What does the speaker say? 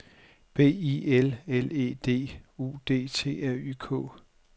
B I L L E D U D T R Y K